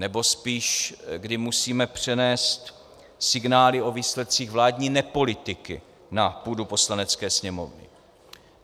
Nebo spíš, kdy musíme přenést signály o výsledcích vládní nepolitiky na půdu Poslanecké sněmovny.